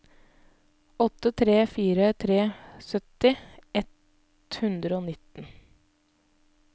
åtte tre fire tre sytti ett hundre og nitten